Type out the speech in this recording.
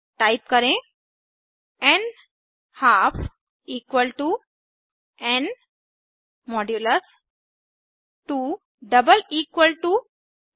type करें न्हाल्फ n 2 0